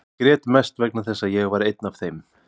Ég grét mest vegna þess að ég var einn af þeim.